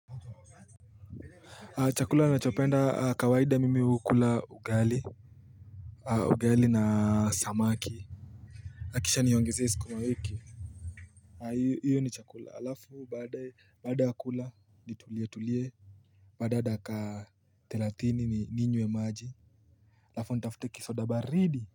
Chakula na chopenda kawaida mimi hukula ugali Ugali na samaki kisha nionge suku mawiki hIyo ni chakula alafu baada ya kula ni tulie tulie Baada ya taka thelatini ni ninywe maji hAlafu nitafute kisoda baridi.